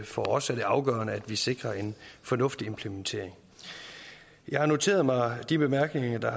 for os er det afgørende at vi sikrer en fornuftig implementering jeg har noteret mig de bemærkninger